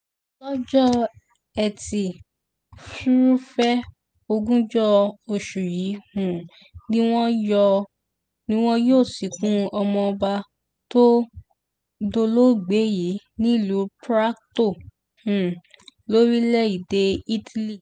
lọ́jọ́ etí furuufee ogunjọ oṣù yìí um ni wọ́n yọ ni wọn yóò sìnkú ọmọọba tó dolóògbé yìí nílùú prato um lórílẹ̀‐èdè italy